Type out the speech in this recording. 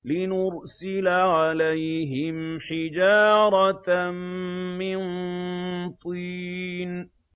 لِنُرْسِلَ عَلَيْهِمْ حِجَارَةً مِّن طِينٍ